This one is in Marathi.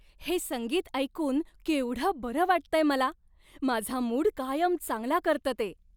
हे संगीत ऐकून केवढं बरं वाटतंय मला. माझा मूड कायम चांगला करतं ते.